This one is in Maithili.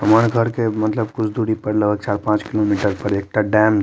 हमार घर के मतलब कुछ दुरी पर चार-पांच किलोमीटर पर एकता डैम --